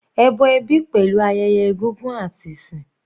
Ẹbọ ẹbí pẹ̀lú ayẹyẹ egúngún àti ìsìn.